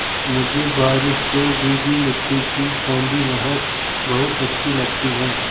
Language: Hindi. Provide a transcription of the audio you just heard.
मुझे बारिश से भीगी मिट्टी की सौंधी महक बहुत अच्छी लगती है